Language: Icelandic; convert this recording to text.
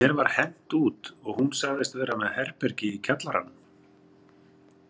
Mér var hent út og hún sagðist vera með herbergi í kjallaranum.